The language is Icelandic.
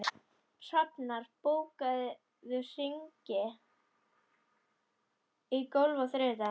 Hrafnar, bókaðu hring í golf á þriðjudaginn.